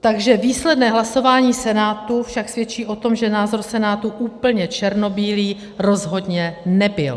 Takže výsledné hlasování Senátu však svědčí o tom, že názor Senátu úplně černobílý rozhodně nebyl.